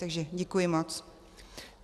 Takže děkuji moc.